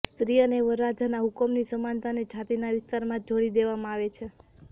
સ્ત્રી અને વરરાજાના હુકમની સમાનતાને છાતીના વિસ્તારમાં જોડી દેવામાં આવે છે